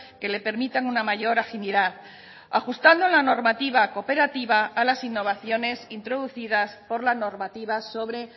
que le permitan una mayor agilidad ajustando la normativa cooperativa a las innovaciones introducidas por la normativa sobre